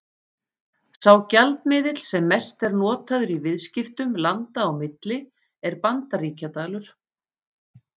Sá gjaldmiðill sem mest er notaður í viðskiptum landa á milli er Bandaríkjadalur.